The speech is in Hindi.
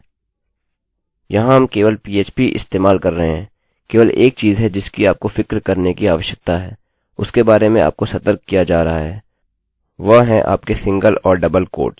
यहाँ हम केवल phpपीएचपीइस्तेमाल कर रहे हैं केवल एक चीज़ है जिसकी आपको फ़िक्र करने की आवश्यकता है उसके बारे में आपको सतर्क किया जा रहा है वह हैं आपके सिंगल और डबल उद्धारणचिह्न